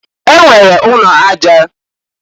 E nwere ụnọ aja.